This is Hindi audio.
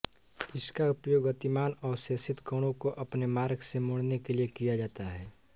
इसका उपयोग गतिमान आवेशित कणों को अपने मार्ग से मोड़ने के लिए किया जाता है